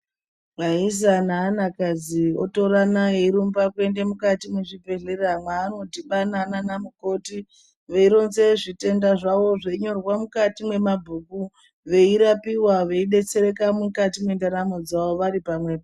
Vaisa neana kadzi otorana eirumba kuenda mukati muzvibhehlera mwano dhibana namukoti veironze zvitenda zvavo zveinyorwe mukati mwemabhuku veirapiwa veidetsereka mukati mendaramo dzavo varipamwepo